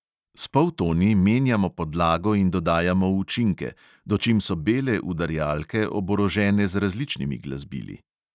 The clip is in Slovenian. S poltoni menjamo podlago in dodajamo učinke, dočim so bele udarjalke oborožene z različnimi glasbili.